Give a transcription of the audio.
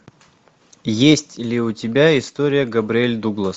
есть ли у тебя история габриэль дуглас